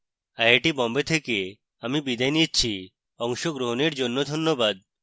I I T Bombay থেকে আমি বিদায় নিচ্ছি অংশগ্রহনের জন্যে ধন্যবাদ